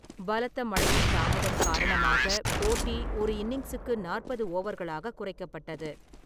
பலத்த மழையின் தாமதம் காரணமாக போட்டி ஒரு இன்னிங்ஸுக்கு நாற்பது ஓவர்களாக குறைக்கப்பட்டது.